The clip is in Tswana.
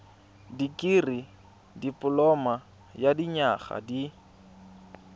dikirii dipoloma ya dinyaga di